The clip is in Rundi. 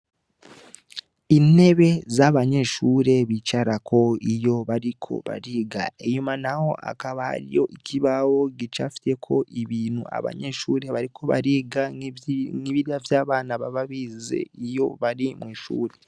Intebe z'abanyeshure bicarako iyo bariko bariga inyuma, naho akabariyo ikibawo gica fiteko ibintu abanyeshure bariko bariga nk'ibira vy'abana bababize iyo bari mw'ishure.